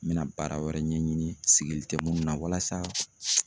N bɛna baara wɛrɛ ɲɛɲini sigili tɛ minnu na walasa